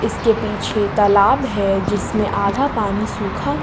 इसके पीछे तालाब है जिसमें आधा पानी सूखा--